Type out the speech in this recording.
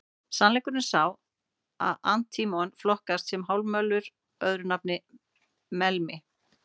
Sannleikurinn er sá að antímon flokkast sem hálfmálmur, öðru nafni melmi.